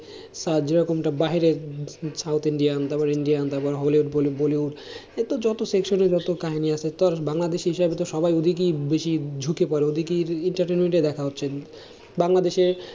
আর যেরকমটা বাইরের South Indian তারপরে Indian তারপরে হলো bollywood সে তো যত section এ যত কাহিনী আছে, তার বাংলাদেশী হিসাবে তো সবাই ওদিকেই বেশি ঝুঁকে পরে ওদিকেই entertainment এ দেখা হচ্ছে, বাংলাদেশে